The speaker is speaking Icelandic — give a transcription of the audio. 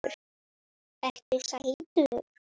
Ertu sætur?